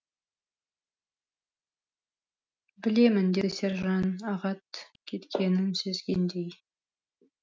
білемін деді сержан ағат кеткенін сезгендей